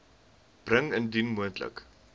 bring indien moontlik